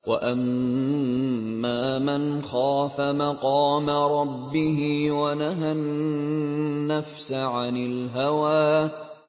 وَأَمَّا مَنْ خَافَ مَقَامَ رَبِّهِ وَنَهَى النَّفْسَ عَنِ الْهَوَىٰ